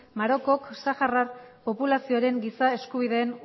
marokok saharar populazioaren giza eskubideen